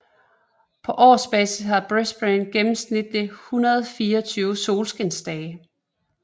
På årsbasis har Brisbane gennemsnitligt 124 solskinsdage